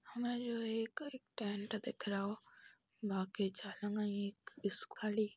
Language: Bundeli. हमें यो एक टेंट दिख रहो बाकी खाली --